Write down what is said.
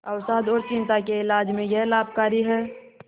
अवसाद और चिंता के इलाज में यह लाभकारी है